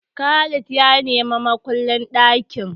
Khalid ya ni makullin ɗakin.